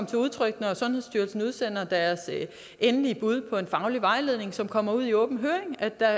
til udtryk når sundhedsstyrelsen udsender deres endelige bud på en faglig vejledning som kommer ud i åben høring at der